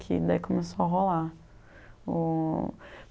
Que daí começou a rolar. O